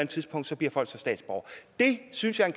tidspunkt bliver folk så statsborgere det synes jeg er